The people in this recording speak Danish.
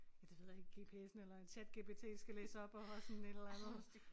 Ja det ved jeg ikke gps'en eller en ChatGPT skal læse op og sådan et eller andet